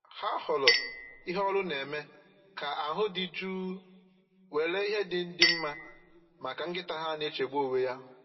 Ha họọrọ ihe olu na-eme ka ahụ dị jụụ nwere ihe ndị dị mma maka nkịta ha na-echegbu onwe ya